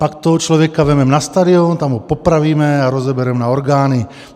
Pak toho člověka vezmeme na stadion, tam ho popravíme a rozebereme na orgány.